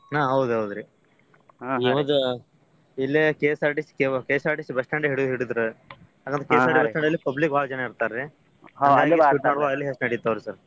ಹಾ ಹೌದ್ ಹೌದ್ರಿ ಇಲೇ ಕೆ~ KSRTC bus stand ಹಿಡ~ ಹಿಡದ್ರ KSRTC bus stand ಅಲ್ಲಿ public ಬಾಳ ಜನ ಇರ್ತಾರ್ರಿ ಅಲ್ಲೆ ಹೆಚ್ ನಡೀತಾವ್ರಿ sir .